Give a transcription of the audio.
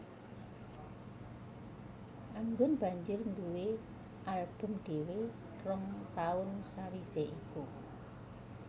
Anggun banjur nduwé album dhéwé rong taun sawisé iku